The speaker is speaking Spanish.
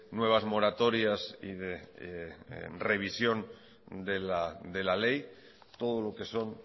nuevas moratorias y de revisión de la ley todo lo que son